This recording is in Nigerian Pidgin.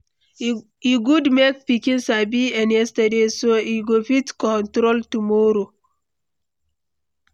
E good make pikin sabi en yesterday, so en go fit control tomorrow.